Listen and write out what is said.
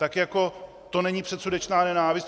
Tak jako to není předsudečná nenávist?